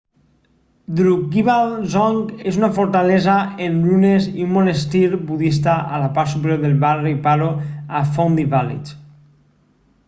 drukgyal dzong és una fortalesa en runes i un monestir budista a la part superior del barri paro a phondey village